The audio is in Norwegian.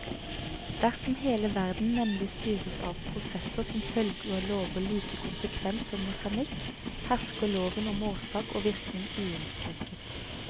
Dersom hele verden nemlig styres av prosesser som følger lover like konsekvent som mekanikk, hersker loven om årsak og virkning uinnskrenket.